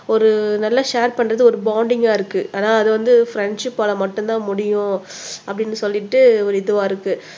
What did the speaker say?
ஒரு நல்ல ஷேர் பண்ணுறது ஒரு வோண்டிங்கா இருக்கு ஆனா அது வந்து ஃப்ரண்ட்ஷிப் ஆள மட்டும் தான் முடியும் அப்படின்னு சொல்லிட்டு ஒரு இதுவா இருக்கு